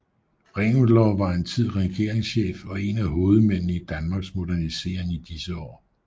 Reventlow var en tid regeringschef og en af hovedmændene i Danmarks modernisering i disse år